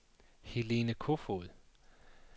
Helene Kofod